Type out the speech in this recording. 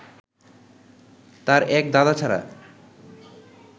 তাঁর এক দাদা ছাড়া